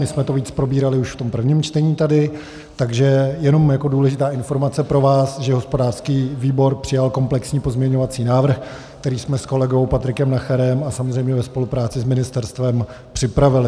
My jsme to víc probírali už v tom prvním čtení tady, takže jenom jako důležitá informace pro vás, že hospodářský výbor přijal komplexní pozměňovací návrh, který jsme s kolegou Patrikem Nacherem a samozřejmě ve spolupráci s ministerstvem připravili.